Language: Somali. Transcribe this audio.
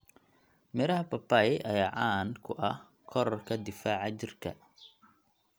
Miraha papai ayaa caan ku ah korodhka difaaca jirka.